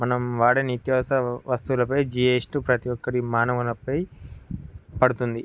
మనం వాడే నిత్యావసర వస్తువులపై జిఎస్టి ప్రతి ఒక్కరి మానవుని పై పడుతుంది.